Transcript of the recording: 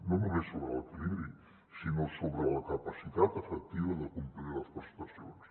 no només sobre l’equilibri sinó sobre la capacitat efectiva de complir les prestacions